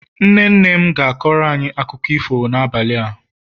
nne nne m ga na-akọrọ anyi akụkọ ifo n'abalị a